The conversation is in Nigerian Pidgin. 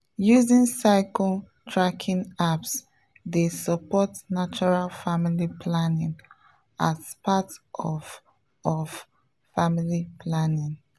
using cycle tracking apps dey support natural family planning as part of of family planning.